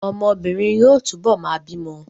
Ọmọbìnrin yóò túbọ̀ máa bímọ